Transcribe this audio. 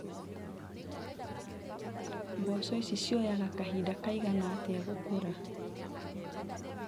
Mboco ici cioyaga kahinda kaigana atĩa gũkũra.